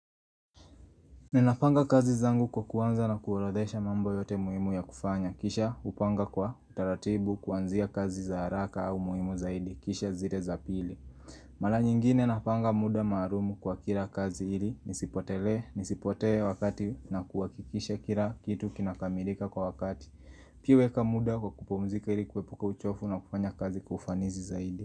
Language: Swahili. Ninapanga kazi zangu kwa kuanza na kuorodhesha mambo yote muhimu ya kufanya. Kisha hupanga kwa utaratibu kuanzia kazi za haraka au muhimu zaidi. Kisha zile za pili. Mara nyingine napanga muda maalumu kwa kila kazi ili. Nisipotele, nisipotee wakati na kuhakikisha kila kitu kinakamilika kwa wakati. Pia weka muda kwa kupumzika ili kuepuka uchovu na kufanya kazi kwa ufanisi zaidi.